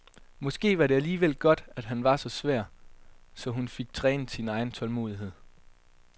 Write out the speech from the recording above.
Måske var det alligevel godt, at han var så svær, så hun fik trænet sin egen tålmodighed.